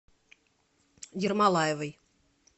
ермолаевой